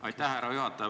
Aitäh, härra juhataja!